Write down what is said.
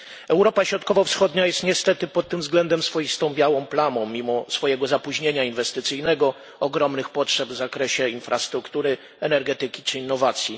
Europa Środkowo Wschodnia jest niestety pod tym względem swoistą białą plamą, mimo swojego zapóźnienia inwestycyjnego i ogromnych potrzeb w zakresie infrastruktury, energetyki czy innowacji.